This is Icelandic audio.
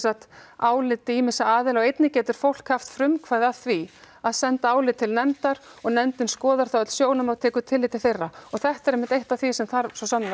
áliti ýmissa aðila og einnig getur fólk haft frumkvæði að því að senda álit til nefndar og nefndin skoðar þá öll sjónarmið og tekur tillit til þeirra og þetta er einmitt eitt af því sem þarf svo sannarlega